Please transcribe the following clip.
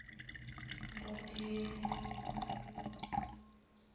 ngodini